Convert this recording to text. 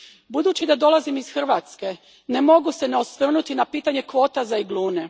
Budući da dolazim iz Hrvatske, ne mogu se ne osvrnuti na pitanje kvota za iglune.